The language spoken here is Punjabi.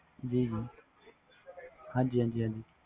ਜੀ ਹਾਂ ਹਾਜੀ ਹਾਜੀ